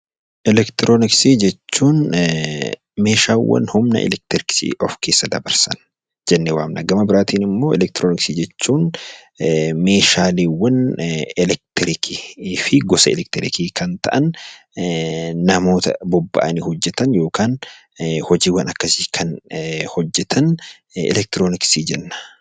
Eleektirooniksii jechuun meeshaawwan humna eleektrikii of keessa dabarsan jennee waamna. Gama biraatiin immoo meeshaaleewwan eleektirikii fi gosa eleektiriikii ta'an kan namoota bobba'anii hojjetan yookaan hojiiwwan akkasii kan hojjetan eleektirooniksii jenna.